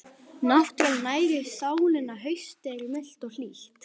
Náttúran nærir sálina Haustið er milt og hlýtt.